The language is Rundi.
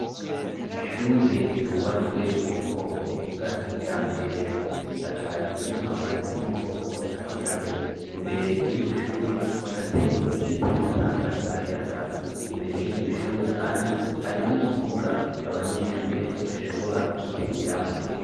Ishure ryubatswe mu bwoko bwa kijambere. Risakajwe n'amabati yo mu bwoko bwa kijambere. Imbere y'iryo shure hatewe igiti gitanga akayaga. Imbere y'iryo shure kandi hari n'ikibuga abanyeshure bashobora gukiniramwo.